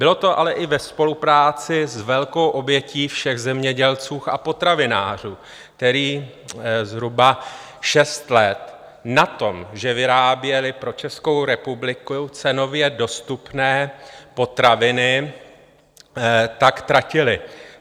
Bylo to ale i ve spolupráci s velkou obětí všech zemědělců a potravinářů, kteří zhruba šest let na tom, že vyráběli pro Českou republiku cenově dostupné potraviny, tak tratili.